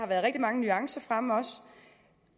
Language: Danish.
været rigtig mange nuancer fremme meget